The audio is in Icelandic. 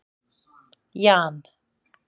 Jan